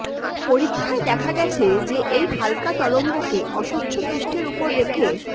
পরীক্ষায় দেখা গেছে যে এই হালকা তরঙ্গকে অস্বচ্ছ পৃষ্ঠের উপরে রেখে